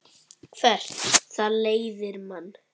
Hvert það leiðir mann.